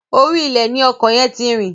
Orí ilẹ̀ ni ọkọ̀ yẹn ti rìn.